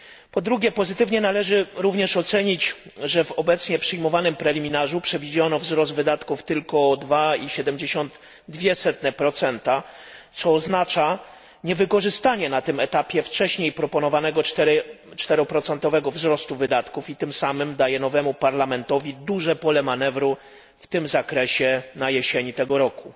Po drugie, pozytywnie należy również ocenić to, że w obecnie przyjmowanym preliminarzu przewidziano wzrost wydatków tylko o 2,72, co oznacza niewykorzystanie na tym etapie wcześniej proponowanego czteroprocentowego wzrostu wydatków i tym samym daje nowemu Parlamentowi duże pole manewru w tym zakresie na jesieni tego roku.